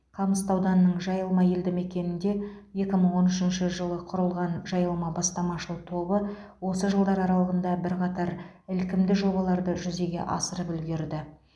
қамысты ауданының жайылма елді мекенінде екі мың он үшінші жылы құрылған жайылма бастамашыл тобы осы жылдар аралығында бірқатар ілкімді жобаларды жүзеге асырып үлгерді